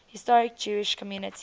historic jewish communities